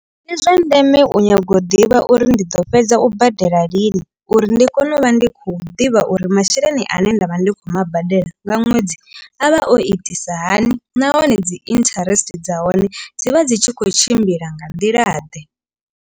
Ndi zwa ndeme u nyaga u ḓivha uri ndi ḓo fhedza u badela lini. Uri ndi kone u vha ndi khou ḓivha uri masheleni ane nda vha ndi khou ma badela nga ṅwedzi a vha o itisa hani. Nahone dzi interest dza hone dzivha dzi tshi khou tshimbila nga nḓila ḓe.